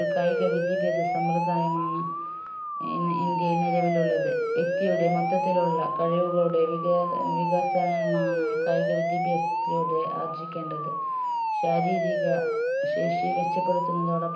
ഒരു കായിക വിദ്യാഭ്യാസ സംബ്രതായമാണ് ഇന്ന് ഇന്ത്യയിൽ നിലവിൽ ഉള്ളത് വ്യക്തിയുടെ മൊത്തത്തിലുള്ള കഴിവുകളുടെ വിക ഏർ വികസനമാണ് കായിക വിദ്യാഭ്യാസത്തിലൂടെ ആർജ്ജിക്കേണ്ടത് ശാരീരിക ശേഷി മെച്ചപ്പെടുത്തുന്നതോടൊപ്പം